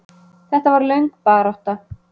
Þetta var löng barátta.